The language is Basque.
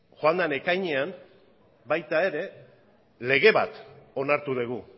joan den ekainean baita ere lege bat onartu dugu